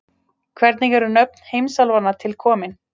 hvernig eru nöfn heimsálfanna til komin